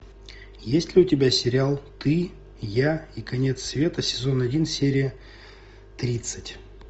есть ли у тебя сериал ты я и конец света сезон один серия тридцать